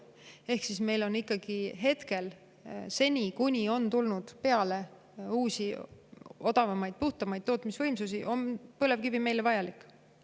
Ehk seni, kuni tulnud peale uusi, odavamaid, puhtamaid, tootmisvõimsusi, on põlevkivi meile praegu ikkagi vajalik.